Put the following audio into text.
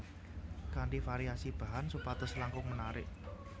Kanthi variasi bahan supados langkung menarik